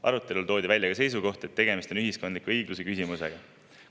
Arutelul toodi välja ka seisukoht, et tegemist on ühiskondliku õigluse küsimusega.